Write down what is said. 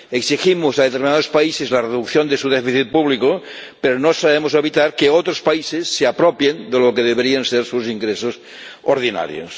Exigimos a determinados países la reducción de su déficit público, pero no sabemos evitar que otros países se apropien de lo que deberían ser sus ingresos ordinarios.